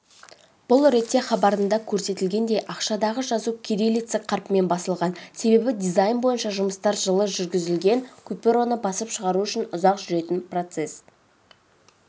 бұл ретте хабарында көрсетілгендей ақшадағы жазу кириллица қарпімен басылған себебі дизайн бойынша жұмыстар жылы жүргізілген купюраны басып шығару ұзақ жүретін процесс